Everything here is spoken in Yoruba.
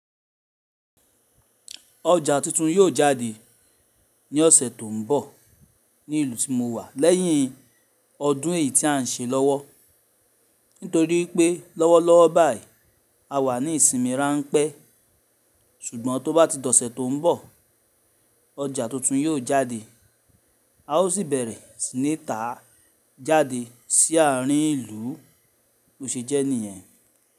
Ọja tuntun yóò jáde ní ọsẹ tó n bọ ní ìlú tí mo wà lẹ́yìn ọdún èyí tí à ń ṣe lọ́wọ́. Nítorí pé lọ́wọ́lọ́wọ́ báyìí a wà ní ìsinmi ránpé ṣùgbọ́n tó bá ti dọ̀sẹ́ tó n bọ̀ ọjà tuntun yóò jáde a ó sì bẹ̀rẹ̀ sí ní tá a jáde sí àárín ìlú ló ṣe jẹ́ níyẹn.